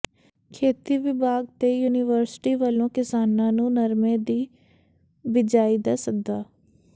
ਖੇਤੀ ਵਿਭਾਗ ਤੇ ਯੂਨੀਵਰਸਿਟੀ ਵੱਲੋਂ ਕਿਸਾਨਾਂ ਨੂੰ ਨਰਮੇ ਦੀ ਬੀਜਾਈ ਦਾ ਸੱਦਾ